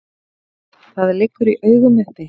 Það liggur í augum uppi.